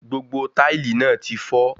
Gbogbo táìlì náà tí fọ́